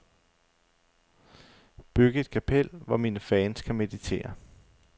Byg et kapel, hvor mine fans kan meditere.